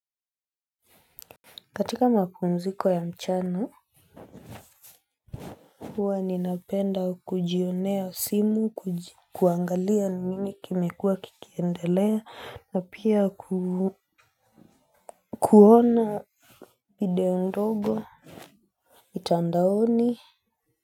Katika mapumziko ya mchanu, huwa ninapenda kujionea simu, kuangalia ni nini kimekuwa kikiendelea, na pia kuona video ndogo, mitandaoni.